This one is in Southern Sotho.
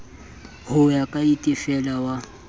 o ka ya itefela wa